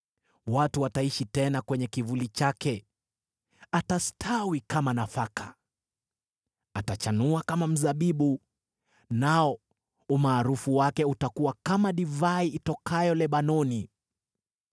Watu wataishi tena kwenye kivuli chake. Atastawi kama nafaka. Atachanua kama mzabibu, nao umaarufu wake utakuwa kama divai itokayo Lebanoni.